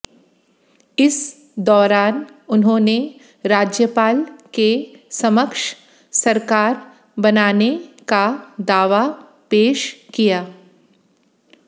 इस दौरान उन्होंने राज्यपाल के समक्ष सरकार बनाने का दावा पेश किया